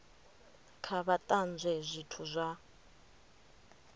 kha vha tanzwe zwithu zwa